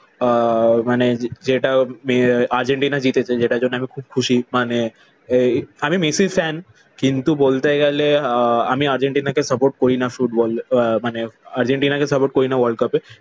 আহ মানে যেটা আর্জেন্টিনা জিতেছে যেটার জন্য আমি খুব খুশি। মানে এই আমি মেসির ফ্যান। কিন্তু বলতে গেলে আমি আহ আর্জেন্টিনাকে সাপোর্ট করি না ফুটবল। আহ মানে আর্জেন্টিনাকে সাপোর্ট করিনা world cup এ।